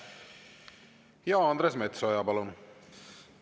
Andres Metsoja, palun!